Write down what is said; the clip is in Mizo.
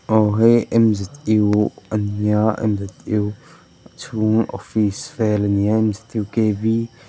aw hei ania chhung office vel a nia --